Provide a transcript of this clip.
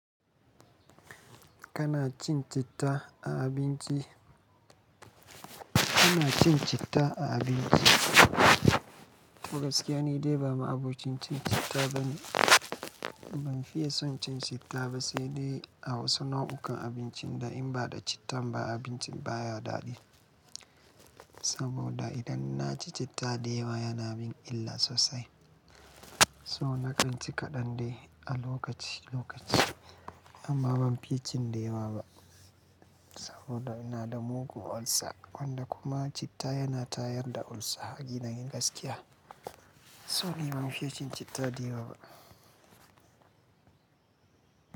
Kana cin citta a abinci? Kana cin citta a abinci? To gaskiya ni dai ba ma abokin cin citta bane. Ban fiye son cin citta ba. Sai dai a wasu nau'ukan abincin da in ba da cittan ba abincin baya daɗi. Saboda idan na ci citta da yawa yana min illa sosai. So naƙanci kaɗan dai a lokaci lokaci. Amma ban fiye cin da yawa ba. Saboda ina da mugun ulcer wanda kuma citta yana tayar da ulcer a dina gaskiya. So ni ban fiye cin citta da yawa ba.